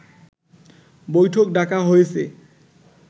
বৈঠক ডাকা হয়েছে